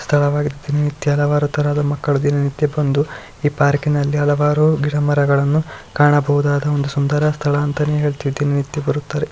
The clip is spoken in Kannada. ಸ್ಥಳವಾಗಿದೆ ದಿನನಿತ್ಯ ಹಲವಾರು ತರಹದ ಮಕ್ಕಳು ದಿನ ನಿತ್ಯ ಬಂದು ಈ ಪಾರ್ಕಿನಲ್ಲಿ ಹಲವಾರು ಗಿಡಮರಗಳನ್ನು ಕಾಣಬಹುದಾದ ಒಂದು ಸುಂದರ ಸ್ಥಳ ಅಂತಾನೆ ಹೇಳುತ್ತಾ ದಿನನಿತ್ಯ ಬರುತ್ತಾರೆ